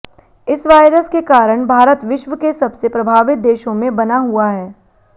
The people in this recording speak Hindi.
इस वायरस के कारण भारत विश्व के सबसे प्रभावित देशों में बना हुआ है